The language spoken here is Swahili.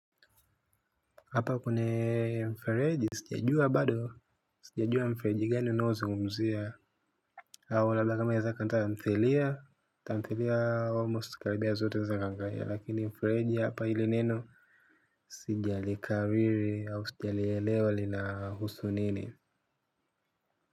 Hapa kuna mfereji sijajua bado sijajua mfereji gani unao zungumzia au labda kama inaeza kuwa ya tamthilia tamthilia almost karibia zote za ganga ya lakini mfereji hapa ili neno sijalikariri au sijalielewa linahusu nini.